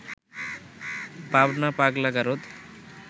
পাবনা পাগলা গারদ